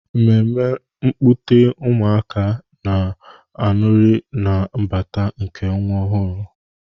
Mmeme nkupute ụmụaka na-anuri na mbata nke nwa ọhụrụ.